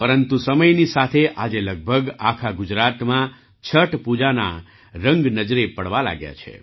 પરંતુ સમયની સાથે આજે લગભગ આખા ગુજરાતમાં છઠ પૂજાના રંગ નજરે પડવા લાગ્યા છે